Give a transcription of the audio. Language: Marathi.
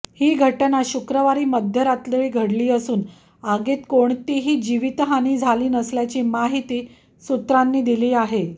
ही घटना शुक्रवारी मध्यरात्री घडली असून आगीत कोणतीही जीवितहानी झाली नसल्याची माहिती सूत्रांनी दिली आहे